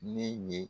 Ne ye